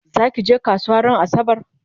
zakije kasuwa ran asabar?